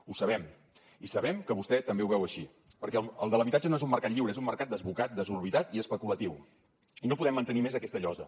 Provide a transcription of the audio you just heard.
ho sabem i sabem que vostè també ho veu així perquè el de l’habitatge no és un mercat lliure és un mercat desbocat desorbitat i especulatiu i no podem mantenir més aquesta llosa